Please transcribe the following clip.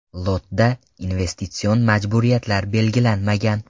Lotda investitsion majburiyatlar belgilanmagan.